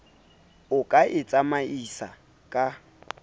o ka e tsamaisang ka